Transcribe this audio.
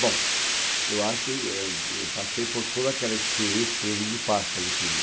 Bom, eu acho que eh e eu passei por toda aquela experiência que todo mundo passa, né? Quer dizer,